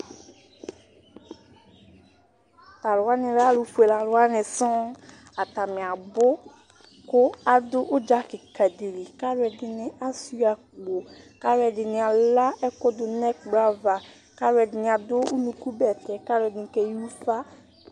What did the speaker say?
Tʋ alʋ wani lɛ alʋ fueleni wani sɔŋ, atani abʋ kʋ adʋ ʋdza kika dili kʋ alʋɛdini asuia akpo, kʋ alʋɛdini ala ɛkʋ dʋnʋ ɛkplɔ aca Kʋ alʋɛdini adʋ ʋnʋkʋ bɛtɛ kʋ alʋɛdini jeyi ufa